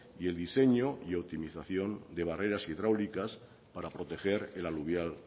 y el diseño y optimización de barreras hidráulicas para proteger el aluvial